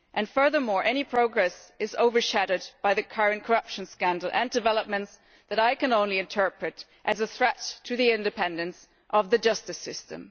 Furthermore any progress is overshadowed by the current corruption scandal and developments that I can only interpret as a threat to the independence of the justice system.